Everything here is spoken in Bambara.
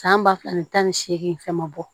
San ba fila ani tan ni seegin fɛn ma bɔ